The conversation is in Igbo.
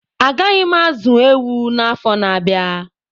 Agaghị m azụ ewu na afọ na abịa